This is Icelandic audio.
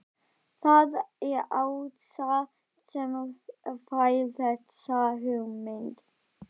Það er Ása sem fær þessa hugmynd.